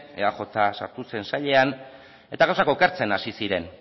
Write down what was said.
eaj sartu zen sailean eta gauzak okertzen hasi ziren